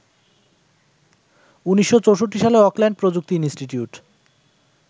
১৯৬৪ সালে অকল্যান্ড প্রযুক্তি ইন্সটিটিউট